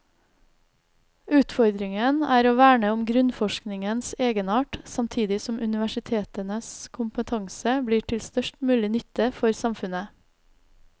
Utfordringen er å verne om grunnforskningens egenart, samtidig som universitetenes kompetanse blir til størst mulig nytte for samfunnet.